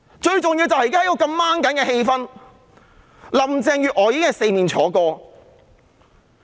最重要的是，在目前如此緊張的氣氛下，林鄭月娥已四面楚歌。